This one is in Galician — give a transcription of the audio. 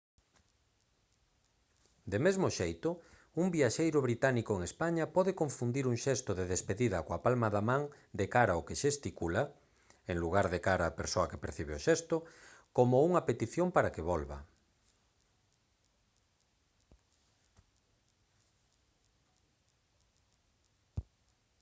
de mesmo xeito un viaxeiro británico en españa pode confundir un xesto de despedida coa palma da man de cara ao que xesticula en lugar de cara á persoa que percibe o xesto como unha petición para que volva